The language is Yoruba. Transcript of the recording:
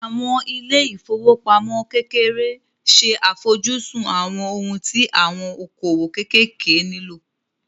Àwọn ilé ìfowópamọ́ kékeré ṣe àfojúsùn àwọn ohun tí àwọn okòwò kéékèèké nílò